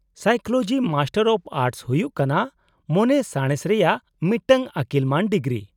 -Psychology master of arts ᱦᱩᱭᱩᱜ ᱠᱟᱱᱟ ᱢᱚᱱᱮ ᱥᱟᱬᱮᱥ ᱨᱮᱭᱟᱜ ᱢᱤᱫᱴᱟᱝ ᱟᱹᱠᱤᱞ ᱢᱟᱹᱱ ᱰᱤᱜᱨᱤ ᱾